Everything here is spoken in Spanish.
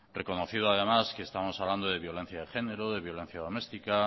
reconocido además que estamos hablando de violencia de género de violencia doméstica